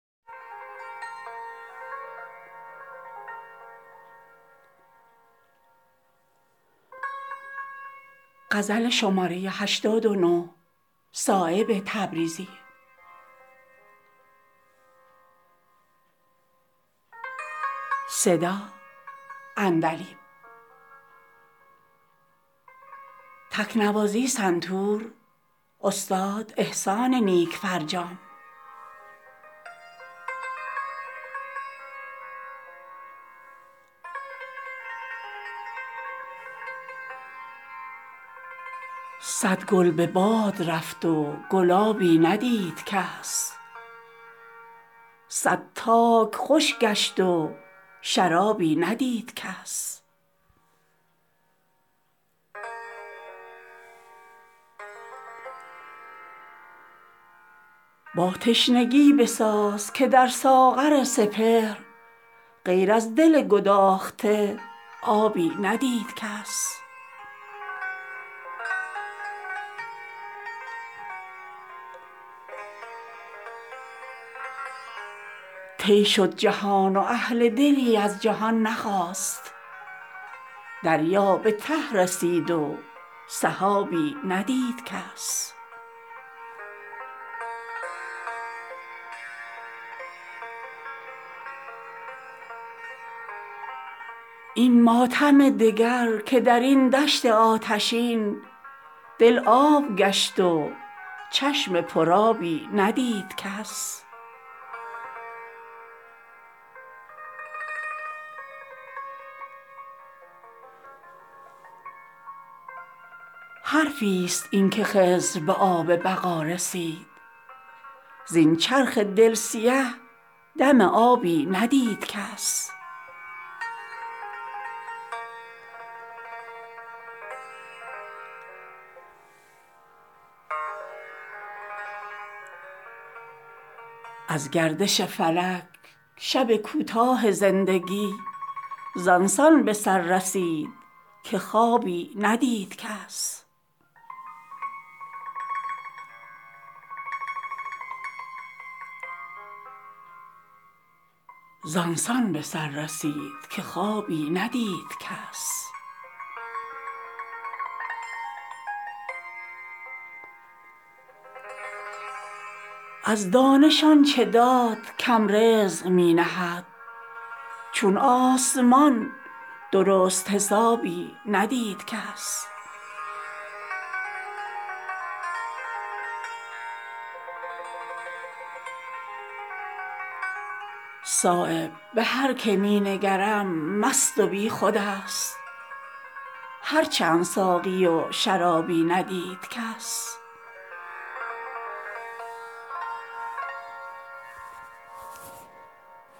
صد گل به باد رفت و گلابی ندید کس صد تاک خشک گشت و شرابی ندید کس باتشنگی بساز که در ساغرسپهر غیر از دل گداخته آبی ندیدکس آب حیات می طلبد حرص تشنه لب در وادیی که موج سرابی ندید کس طی شد جهان واهل دلی از جهان نخاست دریا به ته رسید و سحابی ندید کس این ماتم دگر که درین دشت آتشین دل آب گشت وچشم پرآبی ندید کس حرفی است این که خضر به آب بقا رسید زین چرخ دل سیه دم آبی ندید کس از گردش فلک شب کوتاه زندگی زان سان بسر رسید که خوابی ندید کس از دانش آنچه داد کم رزق می نهد چون آسمان درست حسابی ندید کس بشکن طلسم هستی خود راکه غیر از ین بر روی آن نگارنقابی ندیدکس باد غرور در سرحیران عشق نیست در بحر آبگینه حبابی ندید کس صایب به هر که می نگرم مست و بیخودست هر چند ساقیی و شرابی ندید کس